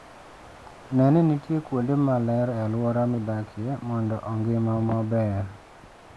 Ne ni nitie kuonde maler e alwora midakie mondo ongima maber.